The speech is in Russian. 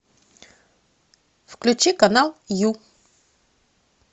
включи канал ю